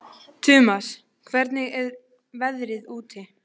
Tumas, hvernig er veðrið úti?